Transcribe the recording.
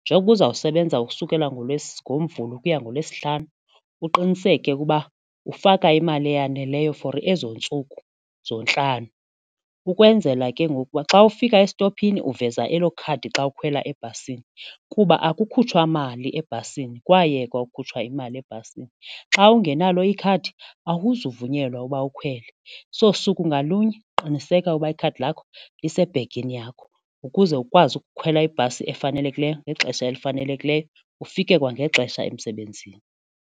njengokuba uzawusebenza ukusukela ngoMvulo ukuya ngoLwesihlanu uqiniseke ukuba ufaka imali eyaneleyo for ezo ntsuku zontlanu ukwenzela ke ngoku uba xa ufika estophini uveza elo khadi xa ukhwela ebhasini kuba akukhutshwa mali ebhasini kwayekwa ukukhutshwa imali ebhasini. Xa ungenalo ikhadi akuzuvunyelwa uba ukhwele. So suku ngalunye qiniseka uba ikhadi lakho lisebhegini yakho ukuze ukwazi ukukhwela ibhasi efanelekileyo ngexesha elifanelekileyo ufike kwangexesha emsebenzini.